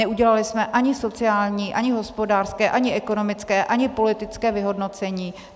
Neudělali jsme ani sociální, ani hospodářské, ani ekonomické, ani politické vyhodnocení.